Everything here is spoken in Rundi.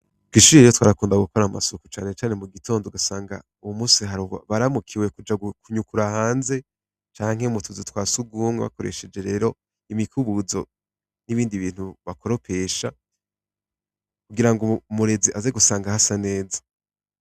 Kw'ishure rero twarakunda gukora amasuku cane cane mu gitondo ugasanga uwo munsi hari abaramukiwe kuja kunyukura hanze canke mu tuzu twa surwumwe bakoresheje rero imikubuzo n'ibindi bintu bakoropesha kugirango umurezi aze gusanga hasa neza.